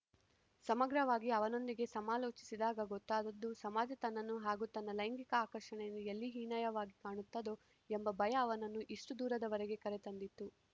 ಸಮಗ್ರವಾಗಿ ಅವನೊಂದಿಗೆ ಸಮಾಲೋಚಿಸಿದಾಗ ಗೊತ್ತಾದದ್ದು ಸಮಾಜ ತನ್ನನ್ನು ಹಾಗೂ ತನ್ನ ಲೈಂಗಿಕ ಆಕರ್ಷಣೆಯನ್ನು ಎಲ್ಲಿ ಹೀನಾಯವಾಗಿ ಕಾಣುತ್ತದೋ ಎಂಬ ಭಯ ಅವನನ್ನು ಇಷ್ಟುದೂರದವರೆಗೆ ಕರೆ ತಂದಿತ್ತು